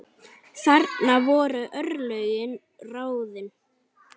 Þarna voru örlögin ráðin.